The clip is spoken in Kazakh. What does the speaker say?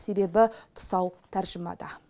себебі тұсау тәржімада